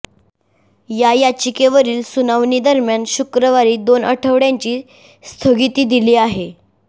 या याचिकेवरील सुनावणीदरम्यान शुक्रवारी दोन आठवड्यांची स्थगिती दिली आहे